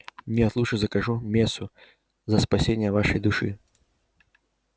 нет лучше закажу мессу за спасение вашей души